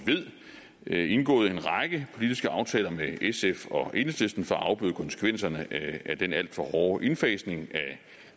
ved indgået en række politiske aftaler med sf og enhedslisten for at afbøde konsekvenserne af den alt for hårde indfasning